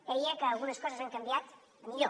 deia que algunes coses han canviat a millor